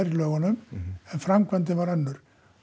en framkvæmdin var önnur